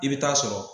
I bɛ taa sɔrɔ